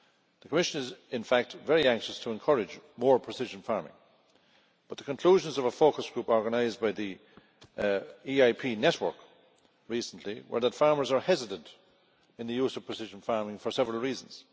The Commission is in fact very anxious to encourage more precision farming, but the conclusions of a focus group organised by the EIP network recently were that farmers are hesitant in the use of precision farming for several reasons.